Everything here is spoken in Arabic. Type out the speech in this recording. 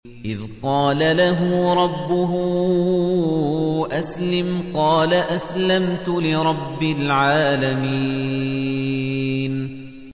إِذْ قَالَ لَهُ رَبُّهُ أَسْلِمْ ۖ قَالَ أَسْلَمْتُ لِرَبِّ الْعَالَمِينَ